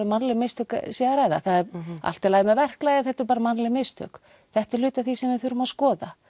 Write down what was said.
mannleg mistök sé að ræða það er allt í lagi með verklagið en þetta voru bara mannleg mistök þetta er hluti af því sem við þurfum að skoða